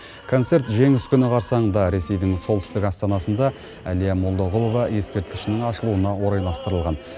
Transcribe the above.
концерт жеңіс күні қарсаңында ресейдің солтүстік астанасында әлия молдағұлова ескерткішінің ашылуына орайластырылған